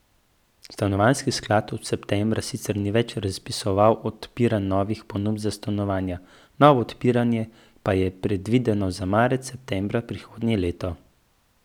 Stanovanjski sklad od septembra sicer ni več razpisoval odpiranj novih ponudb za stanovanja, novo odpiranje pa je predvideno za marec in september prihodnje leto.